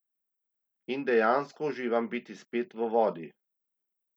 In dejansko uživam biti spet v vodi.